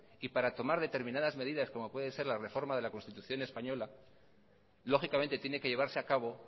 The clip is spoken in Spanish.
y para tomar determinadas medidas como puede ser la reforma de la constitución española lógicamente tiene que llevarse a cabo